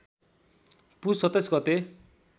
पुस २७ गते